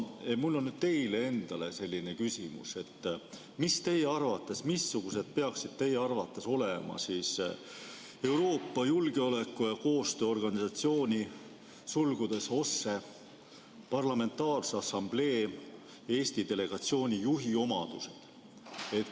Mul on nüüd teile endale selline küsimus: missugused peaksid teie arvates olema Euroopa Julgeoleku- ja Koostööorganisatsiooni Parlamentaarse Assamblee Eesti delegatsiooni juhi omadused?